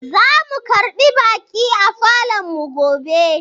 Zamu karbi baƙi a falonmu gobe.